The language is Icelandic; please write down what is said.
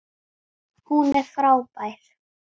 Hún er frábær!